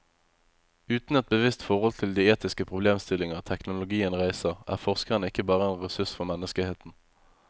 Uten et bevisst forhold til de etiske problemstillinger teknologien reiser, er forskeren ikke bare en ressurs for menneskeheten.